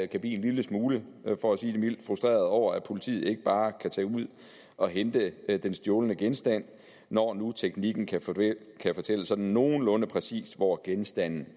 kan blive en lille smule for at sige det mildt frustreret over at politiet ikke bare kan tage ud og hente den stjålne genstand når nu teknikken kan fortælle kan fortælle sådan nogenlunde præcist hvor genstanden